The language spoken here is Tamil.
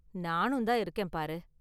நானும் தான் இருக்கேன் பாரு!